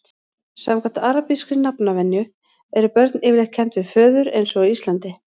samkvæmt arabískri nafnvenju eru börn yfirleitt kennd við föður eins og á íslandi